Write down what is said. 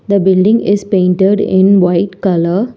The building is painted in white colour.